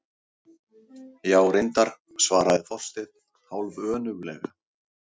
Já, reyndar- svaraði Þorsteinn hálfönuglega.